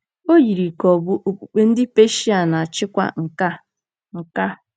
O yiri ka ọ̀ bụ okpukpe ndị Peshia na-achịkwa nke a. nke a.